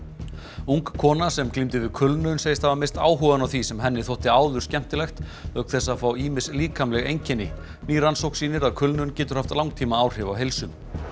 ung kona sem glímdi við kulnun segist hafa misst áhugann á því sem henni þótti áður skemmtilegt auk þess að fá ýmis líkamleg einkenni ný rannsókn sýnir að kulnun getur haft langtímaáhrif á heilsu